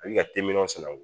A bɛ ka telimanw sanango